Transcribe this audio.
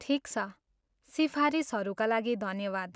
ठिक छ, सिफारिसहरूका लागि धन्यवाद!